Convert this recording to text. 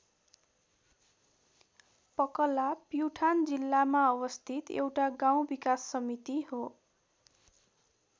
पकला प्युठान जिल्लामा अवस्थित एउटा गाउँ विकास समिति हो।